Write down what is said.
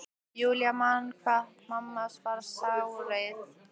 Júlía man enn hvað mamma varð sárreið.